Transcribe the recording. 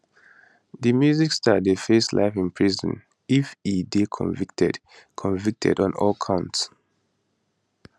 di music star dey face life in prison if e dey convicted convicted on all counts